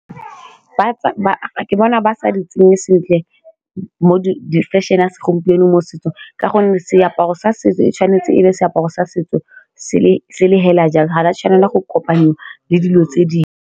Ke bona ba sa di tsenye sentle mo di fashion-e a segompieno mo setsong ka gonne seaparo sa setso e tshwanetse e le seaparo sa setso se le fela jalo ga di a tshwanela go kopanyiwa le dilo tse dingwe.